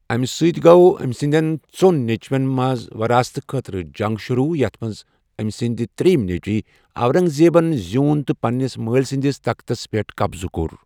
اَمہِ سۭتۍ گوٚو أمۍ سٕنٛدٮ۪ن ژۄن نیٚچوٮ۪ن منٛز وراثتہٕ خٲطرٕ جنٛگ شروع یَتھ منٛز أمۍ سٕنٛدۍ ترٛیٚیِم نیٚچوۍ، اورنٛگزیبن زیٛوٗن تہٕ پنٛنِس مٲلۍ سنٛدِس تختس پٮ۪ٹھ قبضہٕ كو٘ر ۔